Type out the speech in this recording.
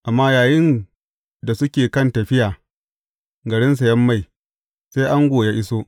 Amma yayinda suke kan tafiya garin sayen mai, sai ango ya iso.